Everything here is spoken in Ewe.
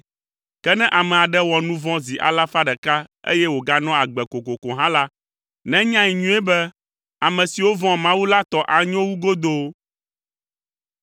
Ke ne ame aɖe wɔ nu vɔ̃ zi alafa ɖeka eye wòganɔa agbe kokoko hã la, nenyae nyuie be ame siwo vɔ̃a Mawu la tɔ anyo wu godoo.